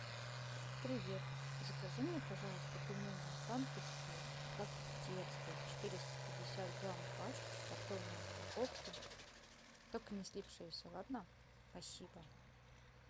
привет закажи мне пожалуйста пельмени останкинские как в детстве четыреста пятьдесят грамм пачка в картонной упаковке только не слипшиеся ладно спасибо